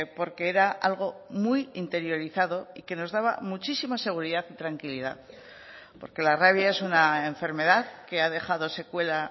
porque era algo muy interiorizado y que nos daba muchísima seguridad y tranquilidad porque la rabia es una enfermedad que ha dejado secuela